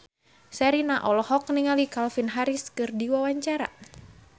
Sherina olohok ningali Calvin Harris keur diwawancara